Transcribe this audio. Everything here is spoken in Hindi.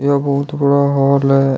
यह बहुत बड़ा हॉल है।